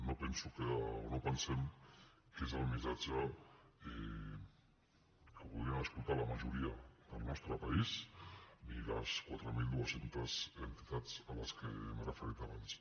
no penso o no pensem que sigui el missatge que voldrien escoltar la majoria del nostre país ni les quatre mil dos cents entitats a les quals m’he referit abans